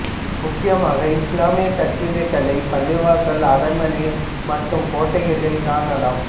முக்கியமாக இஸ்லாமிய கட்டிடக்கலைகளை பள்ளிவாசல் அரண்மனை மற்றும் கோட்டைகளில் காணலாம்